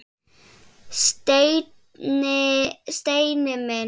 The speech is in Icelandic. Steini minn!